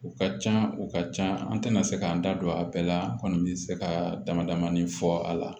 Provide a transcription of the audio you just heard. U ka ca u ka can an tɛna se k'an da don a bɛɛ la an kɔni bɛ se ka damadamanin fɔ a la